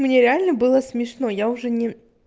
мне реально было смешно я уже не